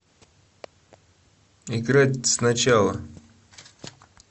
играть сначала